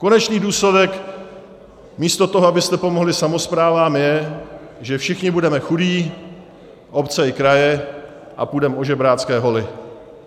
Konečný důsledek místo toho, abyste pomohli samosprávám, je, že všichni budeme chudí, obce i kraje, a půjdeme o žebrácké holi.